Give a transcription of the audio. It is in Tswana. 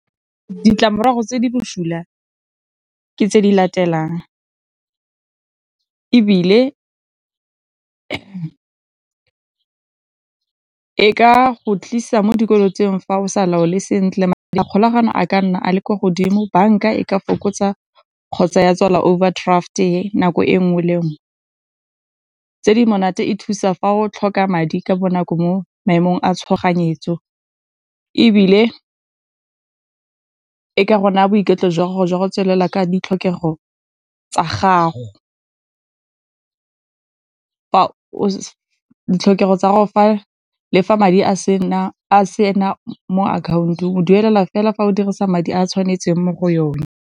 Ditlamorago tse di bosula ka tse di latelang, ebile e ka go tlisa mo dikolong tseo fa o sa laole sentle, kgolagano a ka nna a le ko godimo, bank-a e ka fokotsa kgotsa ya tswala overdraft-e nako e nngwe le nngwe. Tse di monate, e thusa fa o tlhoka madi ka bonako mo maemong a tshoganyetso, ebile ka gona boiketlo jwa gago jwa go tswelela ka ditlhokego tsa gago. Ditlhokego tsa gore le fa madi a sena mo account-ong, o duelela fela fa o dirisa madi a tshwanetseng mo go yone.